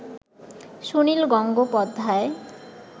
Sunil Gangopadhyay